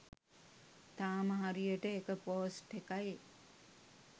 තාම හරියට එක පෝස්ට් එකයි